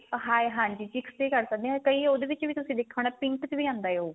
ਹਾਂ ਇਹ ਹਾਂਜੀ chicks ਤੇ ਕਰ ਸਕਦੇ ਆ ਕਈ ਤੇ ਉਹਦੇ ਵਿੱਚ ਵੀ ਤੁਸੀਂ ਦੇਖਿਆ ਹੋਣਾ pink ਚ ਵੀ ਆਂਦਾ ਉਹ